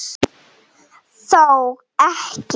Þó ekki.?